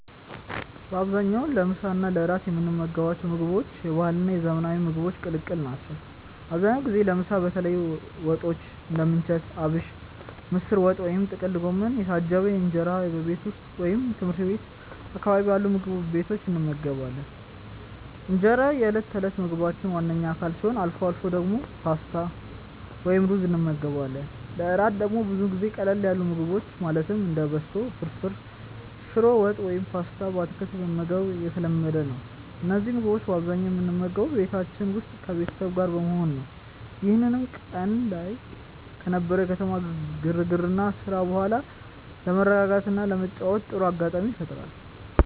በአብዛኛው ለምሳ እና ለእራት የምንመገባቸው ምግቦች የባህልና የዘመናዊ ምግቦች ቅልቅል ናቸው። አብዛኛውን ጊዜ ለምሳ በተለያዩ ወጦች (እንደ ምንቸት አቢሽ፣ ምስር ወጥ ወይም ጥቅል ጎመን) የታጀበ እንጀራን በቤት ውስጥ ወይም ትምህርት ቤት አካባቢ ባሉ ምግብ ቤቶች እንመገባለን። እንጀራ የዕለት ተዕለት ምግባችን ዋነኛ አካል ሲሆን፣ አልፎ አልፎ ደግሞ ፓስታ ወይም ሩዝ እንመገባለን። ለእራት ደግሞ ብዙ ጊዜ ቀለል ያሉ ምግቦችን ማለትም እንደ በሶ ፍርፍር፣ ሽሮ ወጥ ወይም ፓስታ በአትክልት መመገብ የተለመደ ነው። እነዚህን ምግቦች በአብዛኛው የምንመገበው በቤታችን ውስጥ ከቤተሰብ ጋር በመሆን ነው፤ ይህም ቀን ላይ ከነበረው የከተማ ግርግርና ስራ በኋላ ለመረጋጋትና ለመጨዋወት ጥሩ አጋጣሚ ይፈጥራል።